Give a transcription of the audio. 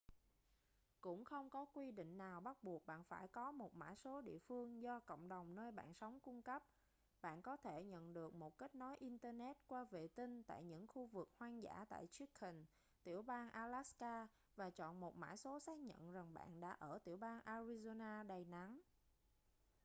cũng không có quy định nào bắt buộc bạn phải có một mã số địa phương do cộng đồng nơi bạn sống cung cấp bạn có thể nhận được một kết nối internet qua vệ tinh tại những khu vực hoang dã tại chicken tiểu bang alaska và chọn một mã số xác nhận rằng bạn đã ở tiểu bang arizona đầy nắng